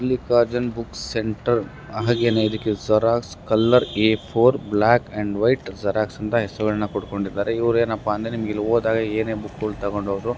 Mallikarjun book centre ಹಾಗೇನೇ ಇದಕ್ಕೆ xerox colour A four black and white xerox ಅಂತ ಹೆಸರುಗಳನ್ನ ಕೋಟಗೊಂಡಿದ್ದಾರೆ. ಇವರೇನಪ್ಪಾ ಅಂದ್ರೆ ನಿಮಗೆ ಇಲ್ಲಿ ಹೋದಾಗ ಏನೆ ಬುಕ್ಗಳು ತಕೊಂಡುಹೋದ್ರು--